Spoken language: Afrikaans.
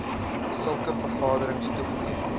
sulke vergaderings toegeken